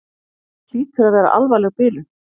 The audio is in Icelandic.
Hlýtur að vera alvarleg bilun.